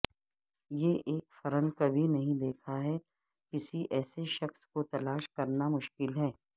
یہ ایک فرن کبھی نہیں دیکھا ہے کسی ایسے شخص کو تلاش کرنا مشکل ہے